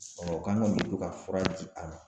Ɔ u ko an ka to ka fura di a ma